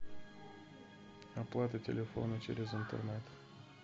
оплата телефона через интернет